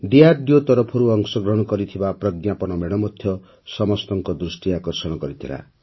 DRDO ତରଫରୁ ଅଂଶଗ୍ରହଣ କରିଥିବା ପ୍ରଜ୍ଞାପନ ମେଢ଼ ମଧ୍ୟ ସମସ୍ତଙ୍କ ଦୃଷ୍ଟି ଆକର୍ଷଣ କରିଥିଲା